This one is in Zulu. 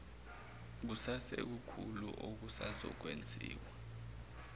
kusekukhulu okusazokwen ziwa